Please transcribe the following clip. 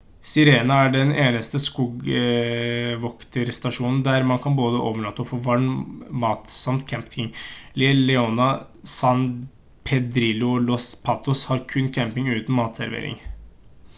sirena er den eneste skogvokterstasjonen der man både kan overnatte og få varm mat samt camping la leona san pedrillo og los patos har kun camping uten matservering